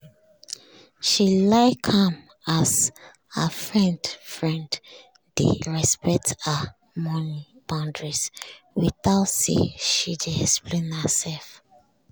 she like am as her friend friend dey respect her money boundaries without say she dey explain herself